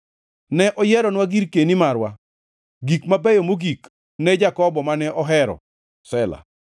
Ne oyieronwa girkeni marwa, gik mabeyo mogik ne Jakobo mane ohero. Sela